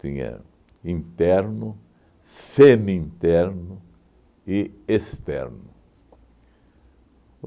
Tinha interno, semi-interno e externo.